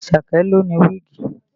Àṣàkẹ́ ló ní wíìgì